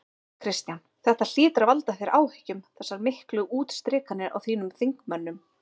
Kristján: Þetta hlýtur að valda þér áhyggjum þessar miklu útstrikanir á þínum þingmönnum?